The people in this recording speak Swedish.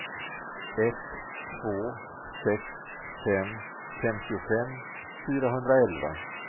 ett två sex fem femtiofem fyrahundraelva